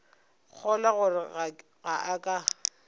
kgolwa gore ge a ka